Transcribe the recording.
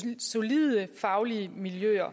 i solide faglige miljøer